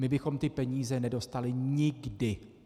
My bychom ty peníze nedostali nikdy!